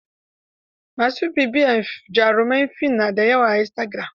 Ma su bibiyarta jaruman fin na da yawa a istagiram.